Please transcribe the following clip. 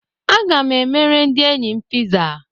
Aga m emere ndị enyi m Pizza.